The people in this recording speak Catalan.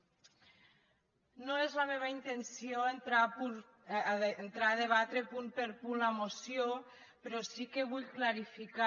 no és la meva intenció entrar a debatre punt per punt la moció però sí que vull clarificar